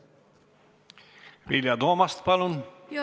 Vilja Toomast, palun!